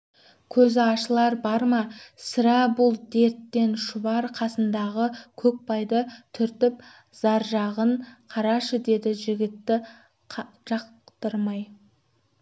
көзі ашылар бар ма сірә бұл дерттен шұбар қасындағы көкбайды түртіп заржағын қарашы деді жігітті жақтырмай